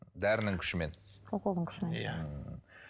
дәрінің күшімен уколдың күшімен